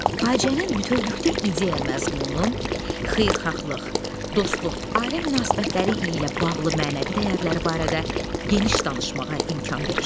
Faciənin bütövlükdə ideya məzmunu, xeyirxahlıq, dostluq, ailə münasibətləri ilə bağlı mənəvi dəyərləri barədə geniş danışmağa imkan verir.